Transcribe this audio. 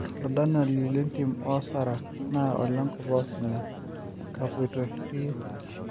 Oladalani lentim oosara na olenkop oosinya; Kapaito Shurie